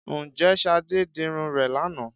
Ǹjẹ́ Ṣadé dirun rẹ̀ lánàá?